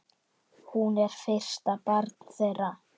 Hún er fyrsta barn þeirra.